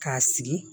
K'a sigi